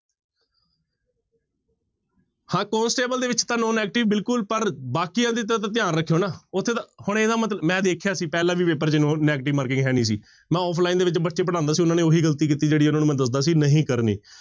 ਹਾਂ ਕੋਂਸਟੇਬਲ ਦੇ ਵਿੱਚ ਤੁਹਾਨੂੰ negative ਬਿਲਕੁਲ ਪਰ ਬਾਕੀਆਂ ਦੇ ਤਾਂ ਧਿਆਨ ਰੱਖਿਓ ਨਾ ਉੱਥੇ ਤਾਂ, ਹੁਣ ਇਹਦਾ ਮਤਲਬ ਮੈਂ ਦੇਖਿਆ ਸੀ ਪਹਿਲਾਂ ਵੀ ਪੇਪਰ ਜਦੋਂ negative marking ਹੈਨੀ ਸੀ ਮੈਂ offline ਦੇ ਵਿੱਚ ਬੱਚੇੇ ਪੜ੍ਹਾਉਂਦਾ ਸੀ ਉਹਨਾਂ ਨੇ ਉਹੀ ਗ਼ਲਤੀ ਕੀਤੀ ਜਿਹੜੀ ਉਹਨਾਂ ਨੂੰ ਮੈਂ ਦੱਸਦਾ ਸੀ ਨਹੀਂ ਕਰਨੀ।